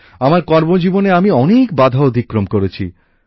আমার কর্মজীবনে আমি অনেক বাধা অতিক্রম করেছি